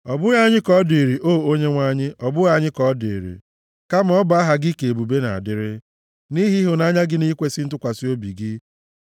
Ọ bụghị anyị ka ọ dịrị, o Onyenwe anyị, ọ bụghị anyị ka ọ dịrị, kama ọ bụ aha gị ka ebube na-adịrị, nʼihi ịhụnanya gị na ikwesi ntụkwasị obi gị.